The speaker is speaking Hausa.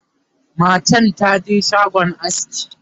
matan taje shagon aski